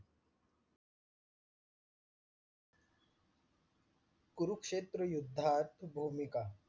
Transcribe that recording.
कुरुक्षेत्र युद्धात भूमिका